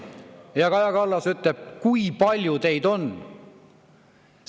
" Ja Kaja Kallas küsis: "Kui palju teid on?